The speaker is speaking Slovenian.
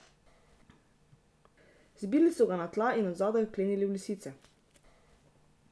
Zbili so ga na tla in od zadaj vklenili v lisice.